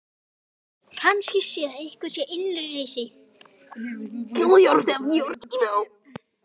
Kannski það sé einhver innri reisa.